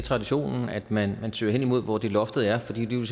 traditionen at man søger hen imod hvor loftet er fordi det jo